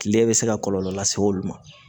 Kile bɛ se ka kɔlɔlɔ lase olu ma